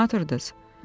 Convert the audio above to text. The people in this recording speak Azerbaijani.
Kimə atırdınız?